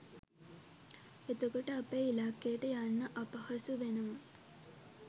එතකොට අපේ ඉල්ලකයට යන්න අපහසු වෙනවා